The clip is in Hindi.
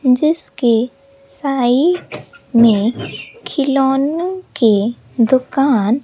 जिसके साइड्स में खिलौने के दुकान--